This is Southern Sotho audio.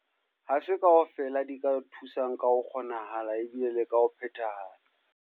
Ha se kaofela di ka o thusang ka ho kgonahala, ebile le ka ho phethahala.